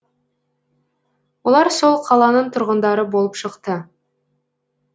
олар сол қаланың тұрғындары болып шықты